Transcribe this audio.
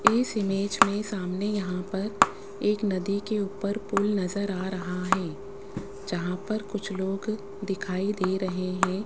इस इमेज में सामने यहां पर एक नदी के ऊपर पुल नजर आ रहा है जहां पर कुछ लोग दिखाई दे रहे है।